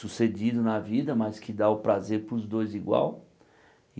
sucedido na vida, mas que dá o prazer para os dois igual.